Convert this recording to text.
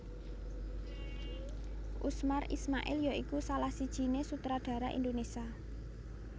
Usmar Ismail ya iku salah sijiné sutradara Indonésia